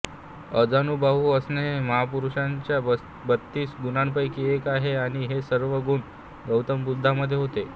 अजानुबाहू असणे हे महापुरुषांच्या बत्तीस गुणांपैकी एक आहे आणि हे सर्व गुण गौतम बुद्धांमध्ये होते